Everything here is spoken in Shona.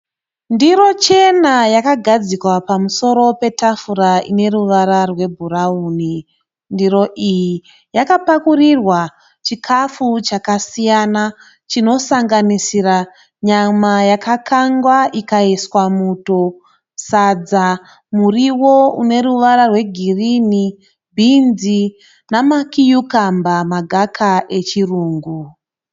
Ndiro chena yakagadzikwa pamusoro petafura ine ruvara RweBrown . Ndiro iyi yakapakurirwa chikafu chakasiyana chinosanganisira nyama yaka kangwa ikaiswa muto, sadza, muriwo ine ruvara rweGirini, beans nama cucumber magaka echirungu.